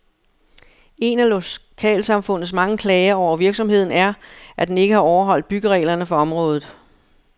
En af lokalsamfundets mange klager over virksomheden er, at den ikke har overholdt byggereglerne for området.